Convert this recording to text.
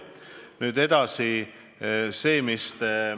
Nüüd edasi.